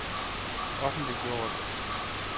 offentliggjort